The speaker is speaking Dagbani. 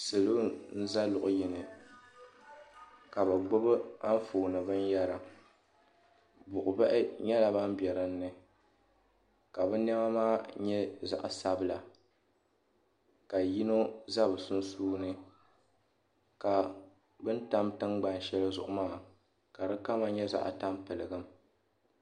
Salo n za luɣu yini ka bɛ gbibi anfooni binyɛra buɣubahi nyɛla ban be dinni ka bɛ niɛma maa nyɛ zaɣa sabila ka yino za sunsuuni ka bini tam tingbanni sheli zuŋu maa ka di kama nyɛ zaɣa tampiligim.